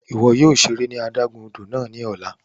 Iwọ yóò ṣere ní adágún odò náà ni ọla!